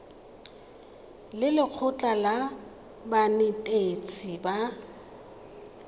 le lekgotlha la banetetshi ba